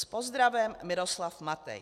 S pozdravem Miroslav Matej."